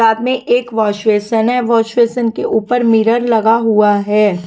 साथ में एक वॉशवेसन है वॉशवेसन के ऊपर मिरर लगा हुआ है।